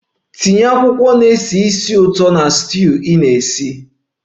Tinye akwụkwọ na-esi ísì ụtọ na stew ị na-esi nri!